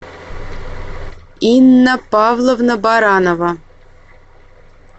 инна павловна баранова